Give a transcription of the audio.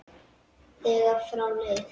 þegar frá leið.